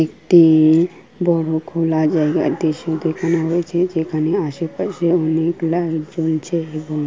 একটি বড় খোলা জায়গা দৃশ্য দেখানো হয়েছে যেখানে আশেপাশে অনেক লাইট জ্বলছে এবং--